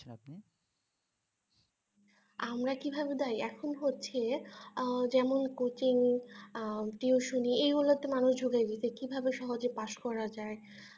আমার কিভাবে দায়ী এখন হচ্ছে আহ যেমন coaching আহ tuiton ই এগুলোতে মানুষ . তা কিভাবে সহজে pass করা যায়